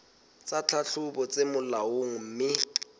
tsa tlhahlobo tse molaong mme